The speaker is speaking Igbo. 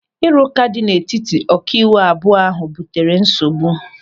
Ịrụka dị n'etiti ọkaiwu abụọ ahụ butere nsogbu.